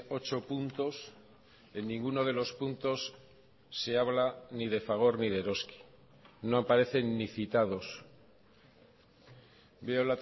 ocho puntos en ninguno de los puntos se habla ni de fagor ni de eroski no aparecen ni citados veo